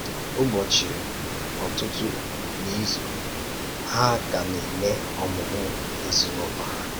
Ụ́bọchị ọ̀tụ̀tụ̀ n’izu, hà ka na-eme ọmụ̀mụ̀ ezinụlọ hà.